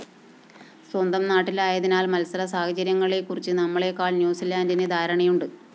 സ്വന്തം നാട്ടിലായതിനാല്‍ മത്സരസാഹചര്യങ്ങളെക്കുറിച്ച്‌ നമ്മളെക്കാള്‍ ന്യൂസിലാന്റിന്‌ ധാരണയുണ്ട്‌